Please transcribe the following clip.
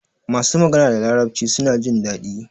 masu magana da larabci suna jindadi